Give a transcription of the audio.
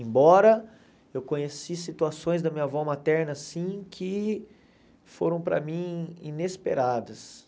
Embora eu conheci situações da minha avó materna, sim, que foram para mim inesperadas.